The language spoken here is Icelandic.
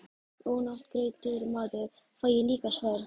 Ónafngreindur maður: Fæ ég líka sverð?